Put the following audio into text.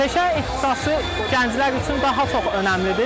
Peşə ixtisası gənclər üçün daha çox önəmlidir.